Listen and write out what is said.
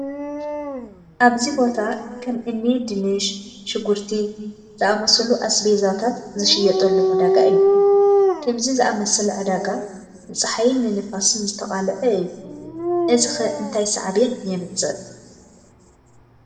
ኣብዚ ቦታ ከም እኒ ድንሽ፣ ሽጉርቲ ዝኣምሰሉ ኣስቤዛታትዝሽየጥሉ ዕዳጋ እዩ፡፡ ከምዚ ዝኣምሰለ ዕዳጋ ንፀሓይን ንንፋስን ዝተቓለዓ እዩ፡፡ እዚ ኸ እንታይ ሳዕቤን የምፅእ?